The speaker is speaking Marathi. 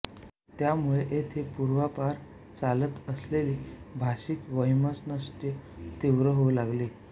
त्यामुळे येथे पूर्वापार चालत असलेले भाषिक वैमनस्य तीव्र होऊ लागले